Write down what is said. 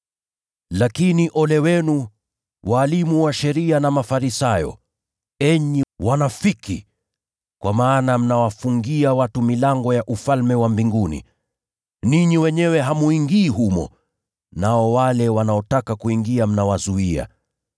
“Lakini ole wenu, walimu wa sheria na Mafarisayo, enyi wanafiki! Kwa maana mnawafungia watu milango ya Ufalme wa Mbinguni. Ninyi wenyewe hamuingii humo, nao wale wanaotaka kuingia mnawazuia. [